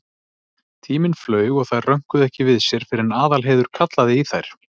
Tíminn flaug og þær rönkuðu ekki við sér fyrr en Aðalheiður kallaði í þær.